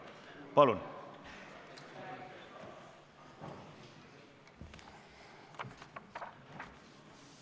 Palun!